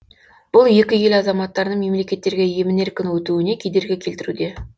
бұл екі ел азаматтарының мемлекеттерге емін еркін өтуіне кедергі келтіруде